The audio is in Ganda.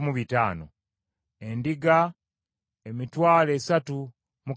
Ente, emitwalo esatu mu kakaaga (36,000);